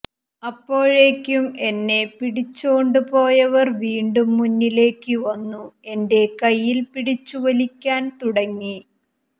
അപ്പോഴേക്കും എന്നെ പിടിച്ചോണ്ട് പോയവർ വീണ്ടും മുന്നിലേക്ക് വന്നു എന്റെ കയ്യിൽ പിടിച്ചു വലിക്കാൻ തുടങ്ങി